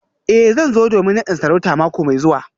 Eh zan zo domin nadin sarauta mako mai zuwa